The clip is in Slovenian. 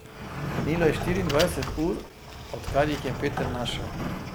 Minilo je štiriindvajset ur, odkar ji jih je Peter naštel.